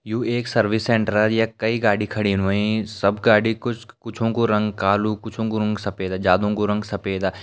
यू एक service centre यख कई गाड़ी खड़ीन होईं सब गाड़ी कुछ कुछो कु रंग कालु कुछो कु रंग सफेदा ज्यादो कु रंग सफेदा।